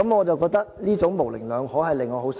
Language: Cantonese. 這種模棱兩可令我很失望。